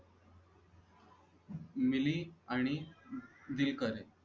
मिलि आणि दिलकर